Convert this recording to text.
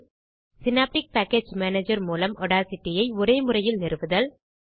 synaptic package manager மூலம் Audacity ஐ ஒரேமுறையில் நிறுவுதல்